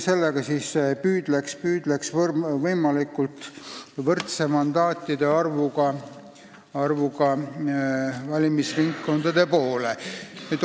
Sellega saaks võimalikuks areng võimalikult võrdse mandaatide arvuga valimisringkondade poole.